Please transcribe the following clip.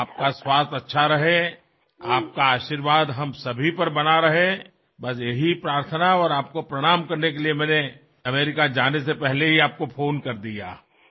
আপোনাৰ স্বাস্থ্য ভালে থাকক আপোনাৰ আশীৰ্বাদ আমাৰ ওপৰত বৰষি থাকক আৰু আপোনাক প্ৰণাম কৰাৰ বাবে মই আমেৰিকালৈ যোৱাৰ পূৰ্বেই ফোন কৰিলো